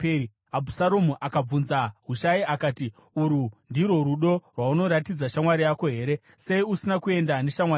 Abhusaromu akabvunza Hushai akati, “Urwu ndirwo rudo rwaunoratidza shamwari yako here? Sei usina kuenda neshamwari yako?”